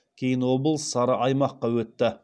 кейін облыс сары аймаққа өтті